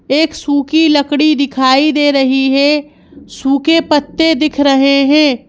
एक सूखी लकड़ी दिखाई दे रही है सूखे पत्ते दिख रहे हैं।